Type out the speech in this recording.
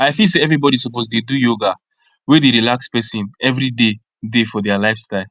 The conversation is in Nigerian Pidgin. i feel say everybody suppose dey do yoga wey dey relax person every day day for their lifestyle